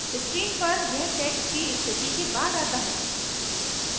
screen पर यह text की स्थिति के बाद it है